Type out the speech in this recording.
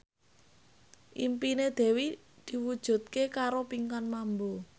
impine Dewi diwujudke karo Pinkan Mambo